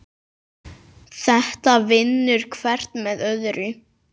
Þetta vinnur hvert með öðru.